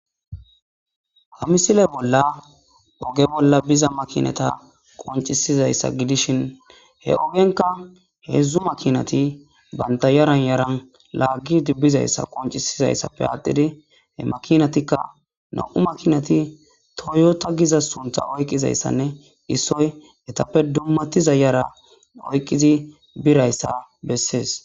ha misile bolla oge bolla biza makinata qoncisizayssa gidishin he ogenka heedzdzu makinati banta yaran yaran laaggidi bizayssa qoncisizayssappe aattidi he makinatikka no7u makinati toyota giza suntha oyqizayssanne issoy etappe dummati zayara oyqqizi birayssa bessees